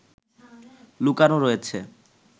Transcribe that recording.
লুকানো রয়েছে